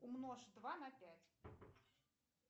умножь два на пять